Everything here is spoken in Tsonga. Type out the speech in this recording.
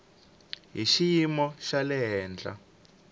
hi xiyimo xa le henhla